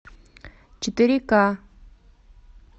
четыре к